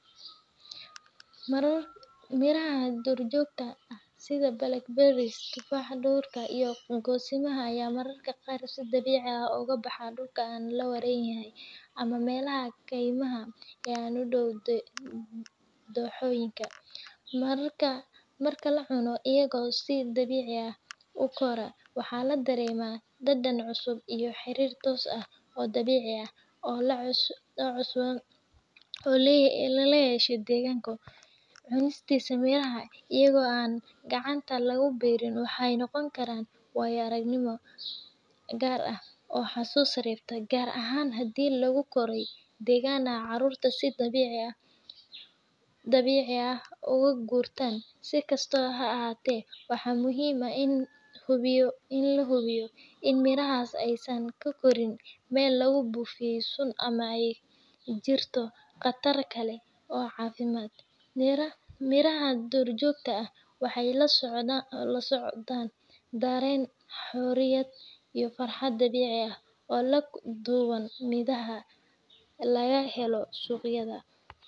Miraha duurjoogta ah sida blackberries, tufaaxa duurka, iyo goosimo ayaa mararka qaar si dabiici ah uga baxa dhulka aan la warayn ama meelaha kaymaha ah ee u dhow dooxooyinka. Marka la cuno iyaga oo si dabiici ah u koraya, waxaa la dareemaa dhadhan cusub iyo xiriir toos ah oo dabiici ah oo lala yeesho deegaanka. Cunista mirahan iyaga oo aan gacanta lagu beerin waxay noqon kartaa waayo-aragnimo gaar ah oo xasuus reebta, gaar ahaan haddii lagu koray deegaan ay carruurtu si dabiici ah uga gurtaan. Si kastaba ha ahaatee, waxaa muhiim ah in la hubiyo in mirahaasi aysan ka korin meel lagu buufiyay sun ama ay jirto khatar kale oo caafimaad. Miraha duurjoogta ah waxay la socdaan dareen xorriyad iyo farxad dabiici ah oo ka duwan midhaha laga helo suuqyada.